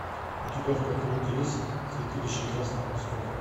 у тебя в каталоге есть святилище красных песков